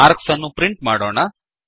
marks ಅನ್ನು print ಮಾಡೋಣ